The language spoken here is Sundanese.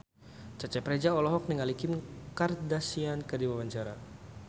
Cecep Reza olohok ningali Kim Kardashian keur diwawancara